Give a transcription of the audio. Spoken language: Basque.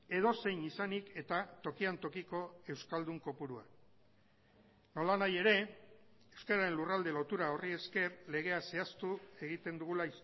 edozein izanik eta tokian tokiko euskaldun kopurua nolanahi ere euskararen lurralde lotura horri esker legea zehaztu egiten dugula